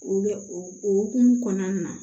O bɛ o hukumu kɔnɔna na